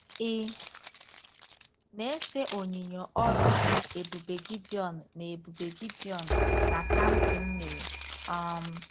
Ị̀ na-ese onyinyo ọrụ ebube Gidiọn na ebube Gidiọn na Samsịn mere? um